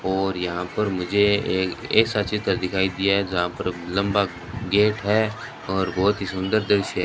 और यहां पर मुझे एक ऐसा चित्र दिखाई दिया है जहां पर लंबा गेट है और बहुत ही सुंदर दृश्य है।